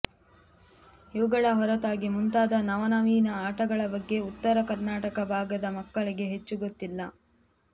ಇವುಗಳ ಹೊರತಾಗಿ ಮುಂತಾದ ನವನವೀನ ಆಟಗಳ ಬಗ್ಗೆ ಉತ್ತರ ಕರ್ನಾಟಕ ಭಾಗದ ಮಕ್ಕಳಿಗೆ ಹೆಚ್ಚು ಗೊತ್ತಿಲ್ಲ